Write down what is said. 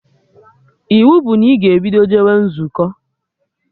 Iwu bụ na ị ga-ebido jewa nzukọ!